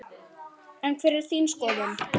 En hver er þín skoðun?